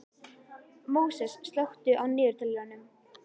Móses, slökktu á niðurteljaranum.